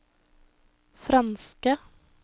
franske